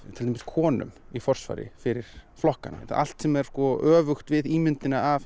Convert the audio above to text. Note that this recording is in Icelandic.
til dæmis konum í forsvari fyrir flokkanna allt sem er öfugt við ímyndina af